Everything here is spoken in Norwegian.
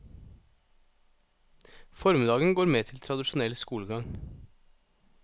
Formiddagen går med til tradisjonell skolegang.